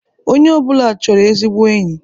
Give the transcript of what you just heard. Onye ọ bụla chọrọ ezigbo enyi.